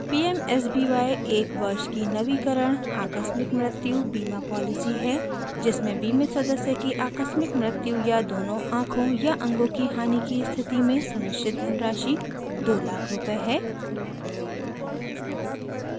pmsby एक वर्ष की नवीकरण आकस्मिक मृत्यु बीमा पॉलिसी है जिसमें बीमित सदस्य की आकस्मिक मृत्यु या दोनों आँखों/अंगों की हानि की स्थिति में सुनिश्चित धनराशि 200000 दो लाख रूपए है